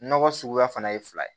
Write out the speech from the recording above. Nɔgɔ suguya fana ye fila ye